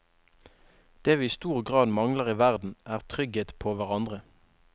Det vi i stor grad mangler i verden, er trygghet på hverandre.